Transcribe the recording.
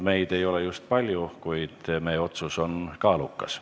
Meid ei ole just palju, kuid meie otsus on kaalukas.